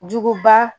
Juguba